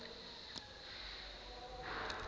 uthe xa asazama